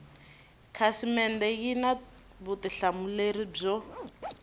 khasimende yi na vutihlamuleri byo